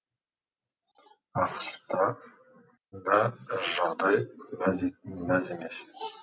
ақш та да жағдай мәз емес